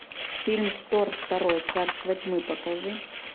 фильм тор второй царство тьмы покажи